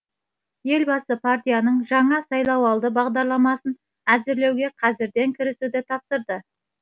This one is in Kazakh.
елбасы партияның жаңа сайлауалды бағдарламасын әзірлеуге қазірден кірісуді тапсырды